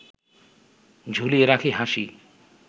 ঝুলিয়ে রাখি হাসি